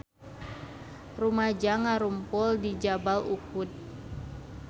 Rumaja ngarumpul di Jabal Uhud